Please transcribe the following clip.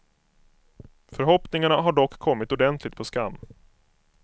Förhoppningarna har dock kommit ordentligt på skam.